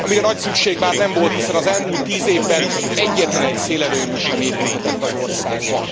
Amire nagy szükség már nem volt, hiszen az elmúlt tíz évben egyetlenegy szélerőmű sem épülhetett az országban.